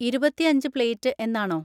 ഇരുപത്തിഅഞ്ച് plate എന്നാണോ?